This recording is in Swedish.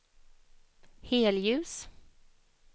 helljus